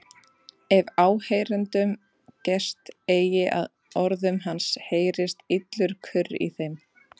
Ef áheyrendum gest eigi að orðum hans heyrist illur kurr í þeim.